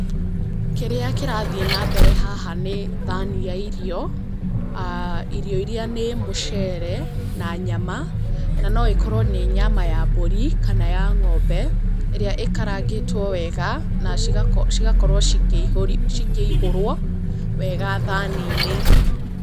Kĩrĩa kĩrathiĩ na mbere haha nĩ thaani ya irio, irio iria nĩ mũcere, na nyama, na no ĩkorwo nĩ nyama ya mbũri kana ya ng'ombe ĩrĩa ĩkarangĩtwo wega, na cigakorwo cikĩihũrwo wega thaani-inĩ.